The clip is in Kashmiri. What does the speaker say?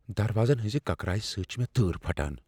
دروازن ہٕنزِ کٕکرایہ سۭتۍ چھےٚ مےٚ تۭر پھٹان۔